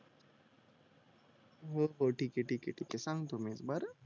हो हो ठीक ये ठीक ये ठीक ये सांगतो मी बर